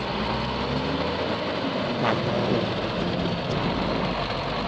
vulawuri bya matsalelo ya